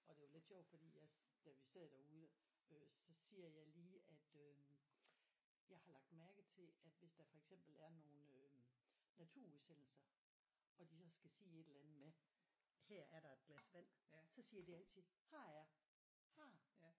Og det er jo lidt sjovt fordi jeg da vi sad derude øh så siger jeg lige at øh jeg har lagt mærke til at hvis der for eksempel er nogle øh naturudsendelser og de så skal sige et eller andet med her er der et glas vand så siger de altid her er her